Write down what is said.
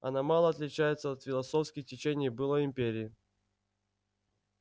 она мало отличается от философских течений былой империи